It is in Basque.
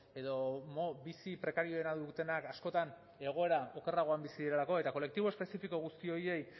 edo bizi prekarioena dutenak askotan egoera okerragoan bizi direlako eta kolektibo espezifiko horiei guztiei